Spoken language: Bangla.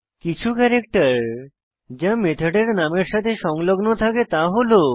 কিছু ক্যারেক্টার যা মেথডের নামের সাথে সংলগ্ন থাকে তা হল